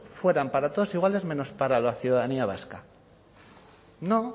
fueran para todos iguales menos para la ciudadanía vasca no